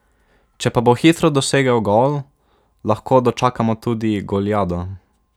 Če pa bo hitro dosegel gol, lahko dočakamo tudi goliado.